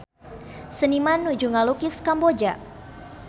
Seniman nuju ngalukis Kamboja